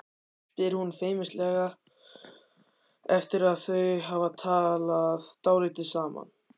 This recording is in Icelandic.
spyr hún feimnislega eftir að þau hafa talað dálítið saman.